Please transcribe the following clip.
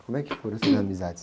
Como é que foram essas amizades?